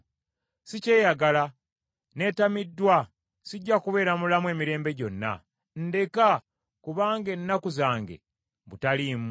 Sikyeyagala, neetamiddwa. Sijja kubeera mulamu emirembe gyonna. Ndeka; kubanga ennaku zange butaliimu.